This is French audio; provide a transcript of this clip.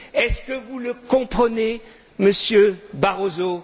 Est ce que vous le comprenez, Monsieur Barroso?